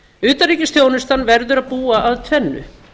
utanríkisþjónustan verður að búa að tvennu